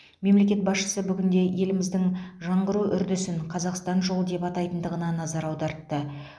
мемлекет басшысы бүгінде еліміздің жаңғыру үрдісін қазақстан жолы деп айтатындығына назар аудартты